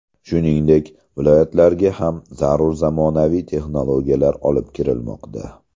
Shuningdek, viloyatlarga ham zarur zamonaviy texnologiyalar olib kirilmoqda.